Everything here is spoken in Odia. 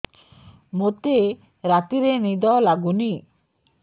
ମୋତେ ରାତିରେ ନିଦ ଲାଗୁନି